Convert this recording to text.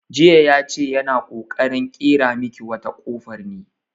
Jiya ya ce yana ƙoƙarin ƙera miki wata kofar ne.